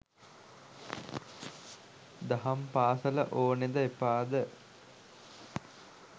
දහම් පාසල ඕනෙද එපාද?